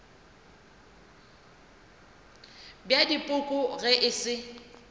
bja dipoko ge e se